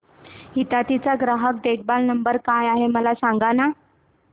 हिताची चा ग्राहक देखभाल नंबर काय आहे मला सांगाना